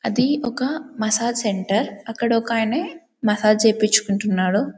అది ఒక massage centre అక్కడ ఒక ఆయన మసాజ్ చేపించుకుంటున్నాడు.